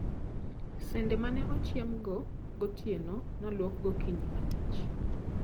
Sende mane ochiemgo gotieno noluok gokinyi mangich.